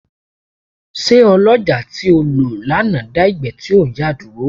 Ṣé ọlọ́jàá tí o lò lánàá dá ìgbẹ́ tí ò ń yà dúró.